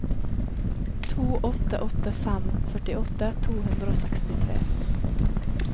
to åtte åtte fem førtiåtte to hundre og sekstitre